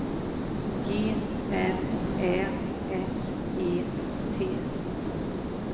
G R Ä S E T